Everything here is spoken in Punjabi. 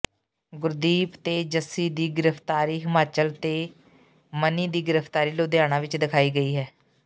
ਗੁਰਦੀਪ ਤੇ ਜੱਸੀ ਦੀ ਗ੍ਰਿਫਤਾਰੀ ਹਿਮਾਚਲ ਅਤੇ ਮਨੀ ਦੀ ਗ੍ਰਿਫਤਾਰੀ ਲੁਧਿਆਣਾ ਵਿਚ ਦਿਖਾਈ ਗਈ ਹੈ